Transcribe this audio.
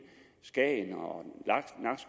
skagen